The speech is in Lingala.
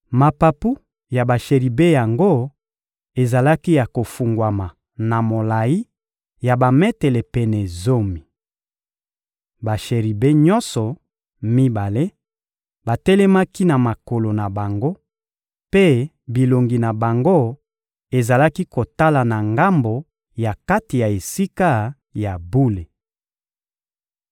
Mapapu ya basheribe yango ezalaki ya kofungwama na molayi ya bametele pene zomi. Basheribe nyonso mibale batelemaki na makolo na bango, mpe bilongi na bango ezalaki kotala na ngambo ya kati ya Esika ya bule.